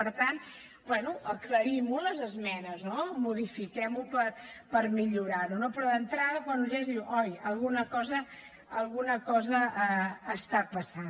per tant bé aclarim ho a les esmenes modifiquem ho per millorar ho no però d’entrada quan ho llegeixes dius oi alguna cosa alguna cosa està passant